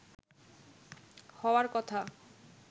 হওয়ার কথা